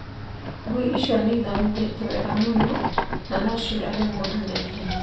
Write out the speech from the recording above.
Ngui icio nĩ ithomithĩtio wega mũno, na no ciũrage mũndũ na ihenya.